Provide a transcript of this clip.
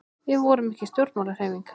Við vorum ekki stjórnmálahreyfing.